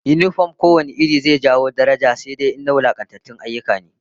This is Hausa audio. Yinifom ko wane iri zai sa a bai wa mutum daraja, sai fa in ta wulakantatun ayyuka ne